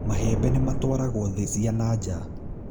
Mahembe nĩ matwaragwo thĩ cia nanja